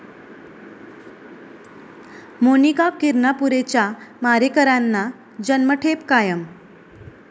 मोनिका किरणापुरेच्या मारेकऱ्यांना जन्मठेप कायम